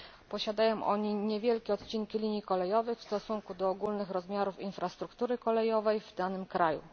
Posiadają oni niewielkie odcinki linii kolejowych w stosunku do ogólnych rozmiarów infrastruktury kolejowej w danym kraju.